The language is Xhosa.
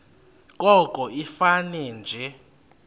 koko ifane nje